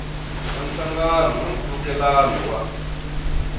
na nhlangano na nkhulukelano wa